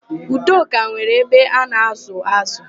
Udoka nwere abe a na-ázụ̀ ázụ̀.